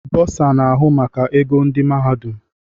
Bọsa na-ahụ maka ego ndị mahadum.